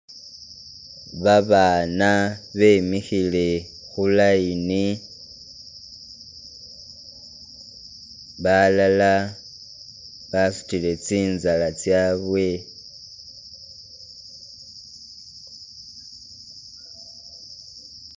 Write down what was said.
Babana bemihile khu line balala basutile tsinzala tsabwe